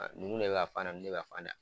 Nunnu de bɛ ka fan da, nunnu de bɛ ka fan da.